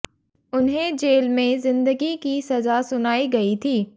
उन्हें जेल में जिंदगी की सजा सुनाई गई थी